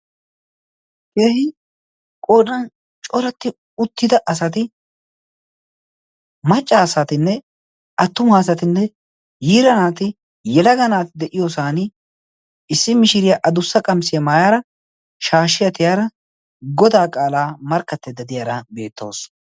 keehi qodan coratti uttida asati macca asatinne attuma asatinne yiira naati yelaga naati de7iyoosan issi mishiriyaa a dussa qamisiyaa maayaara shaashshiya tiyaara godaa qaalaa markkatteedda diyaara beettoos